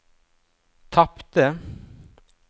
tapte